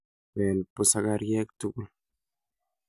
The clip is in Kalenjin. Beel busakaryeek tukul